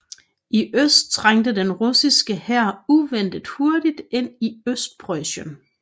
I øst trængte den russiske hær uventet hurtigt ind i Østpreussen